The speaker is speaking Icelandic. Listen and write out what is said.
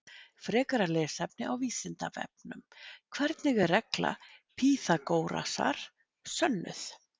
Frekara lesefni á Vísindavefnum: Hvernig er regla Pýþagórasar sönnuð?